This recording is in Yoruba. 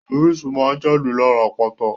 Orísun máa n jáde lára àpáta.